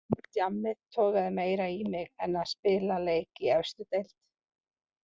Djammið togaði meira í mig en að spila leik í efstu deild.